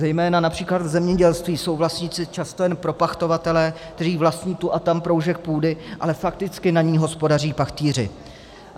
Zejména například v zemědělství jsou vlastníci často jen propachtovatelé, kteří vlastní tu a tam proužek půdy, a fakticky na ní hospodaří pachtýři.